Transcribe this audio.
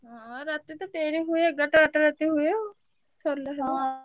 ହଁ ରାତିତ ଡେରି ହୁଏ ଏଗାରଟା ବାରଟା ରାତି ହୁଏ ଆଉ। ସରିଲେ ।